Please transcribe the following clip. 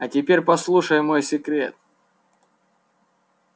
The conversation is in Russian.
а теперь послушай мой секрет